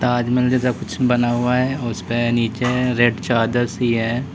ताजमहल जैसा कुछ बना हुआ है और उसपे नीचे रेड चादर सी है।